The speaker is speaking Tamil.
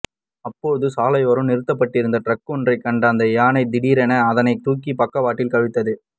அப்போது சாலையோரம் நிறுத்தப்பட்டிருந்த டிரக் ஒன்றைக் கண்ட அந்த யானை திடீரென அதனை தூக்கி பக்கவாட்டில் கவிழ்த்துப்